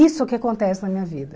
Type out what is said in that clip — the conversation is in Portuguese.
Isso que acontece na minha vida.